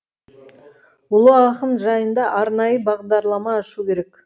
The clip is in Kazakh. ұлы ақын жайында арнайы бағдарлама ашу керек